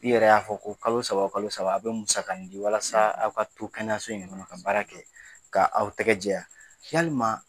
K'i yɛrɛ y'a fɔ ko kalo saba o kalo saba aw bɛ musakani di walasa aw ka to kɛnɛyaso in kɔnɔ ka baara kɛ ka aw tɛgɛ jɛya yalima